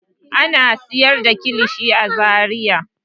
Ana sayar da kilishi a Zariya.